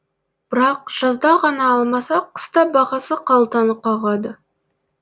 бірақ жазда ғана алмаса қыста бағасы қалтаны қағады